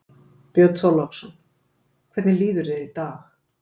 Björn Þorláksson: Hvernig líður þér í dag?